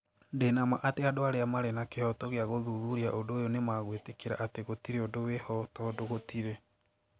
"Ndĩ na ma atĩ andũ arĩa marĩ na kĩhooto gĩa gũthuthuria ũndũ ũyũ nĩ magwĩtĩkĩra atĩ gũtirĩ ũndũ wĩ ho tondũ gũtirĩ".